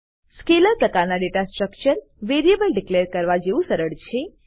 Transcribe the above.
scalar પ્રકારના data structure variable declare કરવા જેવું સરળ છે